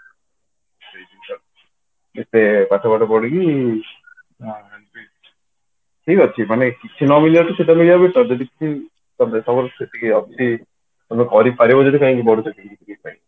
ସେଇ ଜିନିଷ ଏତେ ପାଠ ଆଠ ପଢିକି ଠିକ ଅଛି ମାନେ କିଛି ନ ମିଳିବାଠୁ ସେଇଟା ମିଳିବା ତ better ସେଇଟା ଅଛି ଯଦି ତମେ କରି ପାରିବ ଯଦି ବଡ ଚାକିରି